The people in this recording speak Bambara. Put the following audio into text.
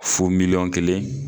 Fo miliyɔn kelen